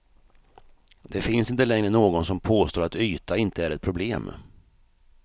Det finns inte längre någon som påstår att yta inte är ett problem.